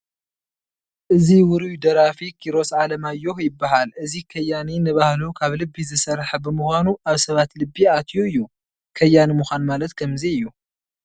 እዚ ውሩይ ደራፊ ኪሮስ ኣለማዮህ ይበሃል፡፡ እዚ ከያኒ ንባህሉ ካብ ልቢ ዝሰርሕ ብምዃኑ ኣብ ሰባት ልብ ኣትዩ እዩ፡፡ ከያኒ ምዃን ማለት ከምዚ እዩ፡፡